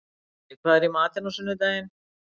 Logi, hvað er í matinn á sunnudaginn?